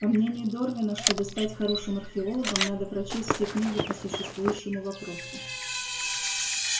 по мнению дорвина чтобы стать хорошим археологом надо прочесть все книги по существующему вопросу